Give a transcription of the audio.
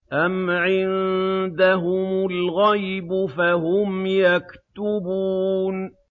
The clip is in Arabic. أَمْ عِندَهُمُ الْغَيْبُ فَهُمْ يَكْتُبُونَ